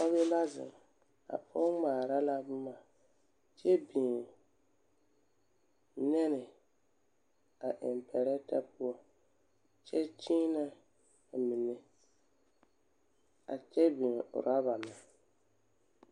Pɔge la zeŋ. A pɔge ŋmaara la boma kyɛ biŋ nɛne a eŋ pɛrɛtɛ poɔ, kyɛ kyeenɛ a mine. A kyɛ biŋ oraba meŋ.